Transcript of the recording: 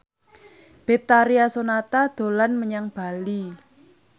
Betharia Sonata dolan menyang Bali